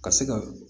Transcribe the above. Ka se ka